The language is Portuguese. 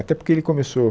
Até porque ele começou